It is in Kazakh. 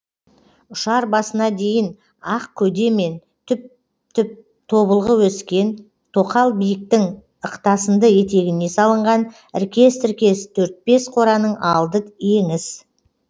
ұшар басына дейін ақ көде мен түп түп тобылғы өскен тоқал биіктің ықтасынды етегіне салынған іркес тіркес төрт бес қораның алды еңіс